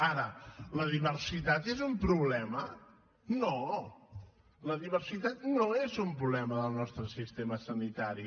ara la diversitat és un problema no la diversitat no és un problema del nostre sistema sanitari